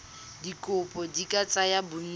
dikopo di ka tsaya bontsi